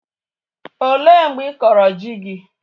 Ọ léé mgbe ịkọrọ ji gị?